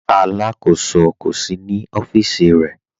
Alákọsọ kò sí ní ọfiíṣì rẹ̀.